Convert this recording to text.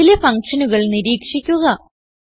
അതിലെ ഫങ്ഷനുകൾ നിരീക്ഷിക്കുക